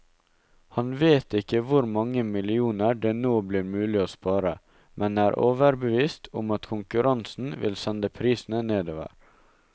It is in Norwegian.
Han vet ikke hvor mange millioner det nå blir mulig å spare, men er overbevist om at konkurransen vil sende prisene nedover.